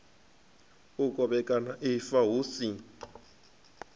u kovhekana ifa hu si